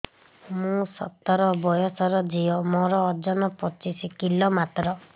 ମୁଁ ସତର ବୟସର ଝିଅ ମୋର ଓଜନ ପଚିଶି କିଲୋ ମାତ୍ର